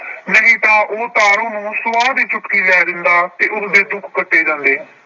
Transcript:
ਨਹੀਂ ਤਾਂ ਤਾਰੋ ਨੂੰ ਸਵਾਹ ਦੀ ਚੁਟਕੀ ਲੈ ਦਿੰਦਾ ਤੇ ਉਸਦੇ ਦੁੱਖ ਕੱਟੇ ਜਾਂਦੇ।